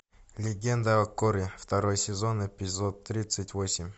легенда о корре второй сезон эпизод тридцать восемь